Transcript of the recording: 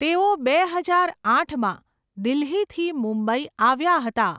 તેઓ બે હજાર આઠમાં દિલ્હીથી મુંબઈ આવ્યા હતા.